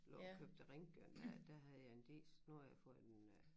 Lå og kørte til Ringkøbing dér der havde jeg en diesel nu har jeg fået en øh